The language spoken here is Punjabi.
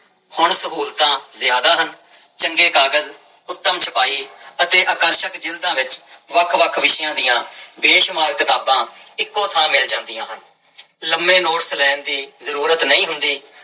ਹੁਣ ਸਹੂਲਤਾਂ ਜ਼ਿਆਦਾ ਹਨ, ਚੰਗੇ ਕਾਗਜ਼ ਉਤਮ ਛਪਾਈ ਅਤੇ ਆਕਰਸ਼ਕ ਜ਼ਿਲਦਾਂ ਵਿੱਚ ਵੱਖ ਵੱਖ ਵਿਸ਼ਿਆਂ ਦੀ ਬੇਸ਼ੁਮਾਰ ਕਿਤਾਬਾਂ ਇੱਕੋ ਥਾਂ ਮਿਲ ਜਾਂਦੀਆਂ ਹਨ ਲੰਮੇ ਨੋਟਸ ਲੈਣ ਦੀ ਜ਼ਰੂਰਤ ਨਹੀਂ ਹੁੰਦੀ,